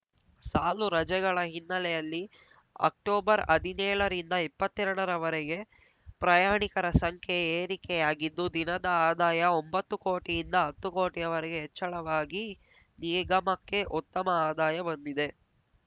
ಸಾಲು ರಜೆಗಳ ಹಿನ್ನೆಲೆಯಲ್ಲಿ ಅಕ್ಟೊಬರ್ಹದಿನೇಳ ರಿಂದ ಇಪ್ಪತ್ತೆರಡ ರವರೆಗೆ ಪ್ರಯಾಣಿಕರ ಸಂಖ್ಯೆ ಏರಿಕೆಯಾಗಿದ್ದು ದಿನದ ಆದಾಯ ಒಂಬತ್ತು ಕೋಟಿಯಿಂದ ಹತ್ತು ಕೋಟಿವರೆಗೂ ಹೆಚ್ಚಳವಾಗಿ ನಿಗಮಕ್ಕೆ ಉತ್ತಮ ಆದಾಯ ಬಂದಿದೆ